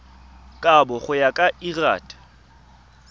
kabo go ya ka lrad